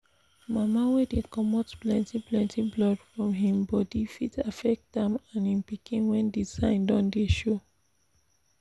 mama wey dey comot plenty plenty blood from him body fit affect am and him pikin when the sign don dey show